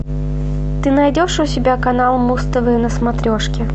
ты найдешь у себя канал муз тв на смотрешке